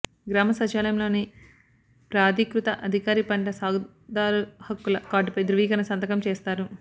గ్రామ సచివాలయంలోని ప్రాధీకృత అధికారి పంట సాగుదారు హక్కుల కార్డుపై ధ్రువీకరణ సంతకం చేస్తారు